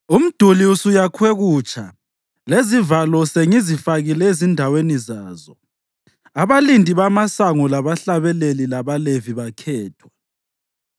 Umduli usuyakhwe kutsha lezivalo sengizifakile ezindaweni zazo, abalindi bamasango labahlabeleli labaLevi bakhethwa.